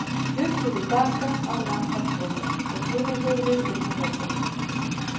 Hlupu svo til baka að lambakrónni og teygðu höfuðið upp með veggjunum.